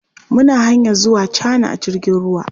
Muna hanyar zuwa Cana a jirgin ruwa.